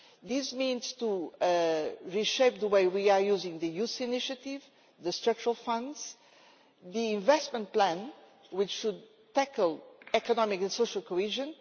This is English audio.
This means to reshape the way we are using the Youth Initiative, the structural funds and the investment plan, which should tackle economic and social cohesion.